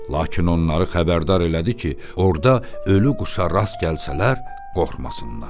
Lakin onları xəbərdar elədi ki, orda ölü quşa rast gəlsələr, qorxmasınlar.